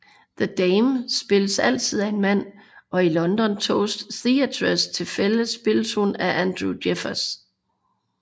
The Dame spilles altid af en mand og i London Toast Theatres tilfælde spilles hun af Andrew Jeffers